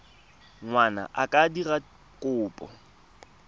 ngwana a ka dira kopo